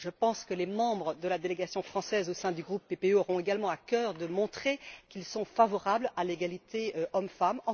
Je pense que les membres de la délégation française au sein du groupe PPE auront également à cœur de montrer qu'ils sont favorables à l'égalité entre hommes et femmes.